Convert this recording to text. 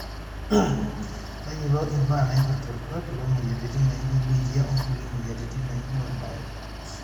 tayiolo imbaa naipirta orkuaak loomweyiaritin naijo biitia onkulie mweyiaritin naijo orbae